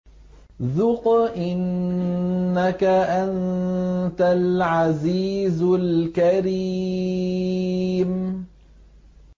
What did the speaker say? ذُقْ إِنَّكَ أَنتَ الْعَزِيزُ الْكَرِيمُ